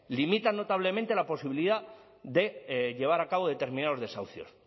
limita notablemente la posibilidad de llevar a cabo determinados desahucios